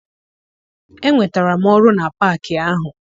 Enwetara m ọrụ na paakị ahụ.